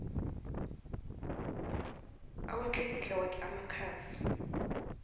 awatlikitle woke amakhasi